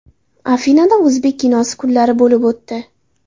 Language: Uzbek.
Afinada o‘zbek kinosi kunlari bo‘lib o‘tdi.